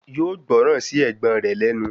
Yóò gbọ́ran sí ẹ̀gbọ́n rẹ̀ lẹ́nu